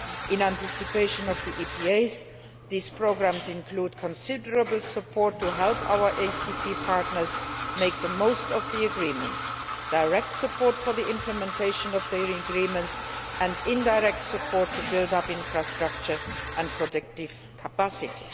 In anticipation of the EPAs, these programmes include considerable support to help our African, Caribbean and Pacific partners make the most of the agreements direct support for the implementation of the agreements and indirect support to build up infrastructure and productive capacity.